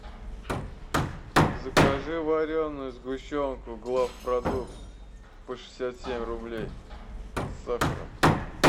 закажи вареную сгущенку главпродукт по шестьдесят семь рублей с сахаром